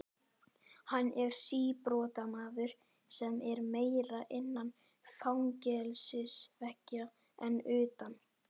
Hann er síbrotamaður sem er meira innan fangelsisveggja en utan.